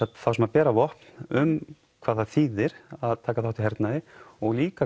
þá sem bera vopn um hvað það þýðir að taka þátt í hernaði og líka